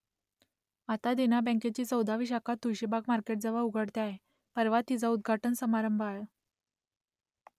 आता देना बँकेची चौदावी शाखा तुळशीबाग मार्केटजवळ उघडते आहे परवा तिचा उद्घाटन समारंभ आहे